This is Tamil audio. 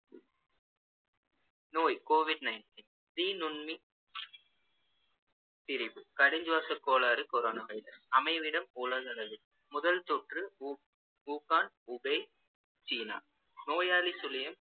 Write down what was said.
நோய் covid nineteen தீநுண்மி திரிபு கடுஞ்சுவாசக் கோளாறு corona virus அமைவிடம் உலகளவில் முதல் தொற்று உ~ ஊகான், ஊபேய், சீனா நோயாளி சுழியம்